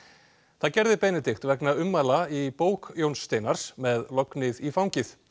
það gerði Benedikt vegna ummæla í bók Jóns Steinars með lognið í fangið